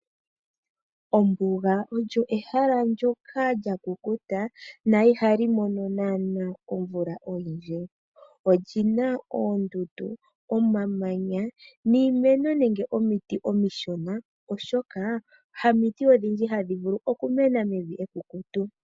Ombuga olyo ehala ndyoka lya kukuta na iha li mono naana omvula oyindji olyi na oondundu, omamanya niimeno nenge omiti omishona, oshoka hamiti odhindji hadhi vulu okumena mevi ekukutu.